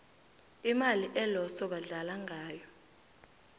imali eloso badlala ngayo